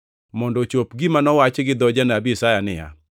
mondo ochop gima nowachi gi dho janabi Isaya niya,